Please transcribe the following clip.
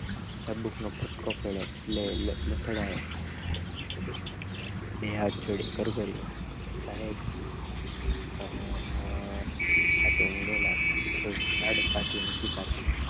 ચાબુક નો ફટકો પડ્યો એટલે એ લઠ લોઠડાયો બે હાથ જોડી કરગડીયો સાહેબ આ કુંઢેલા છે કઈ ઝાડમાંથી નથી કાપ્યુ